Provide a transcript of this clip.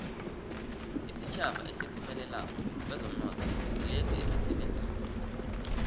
isitjhaba esiphumelelako kwezomnotho ngilesi esisebenzako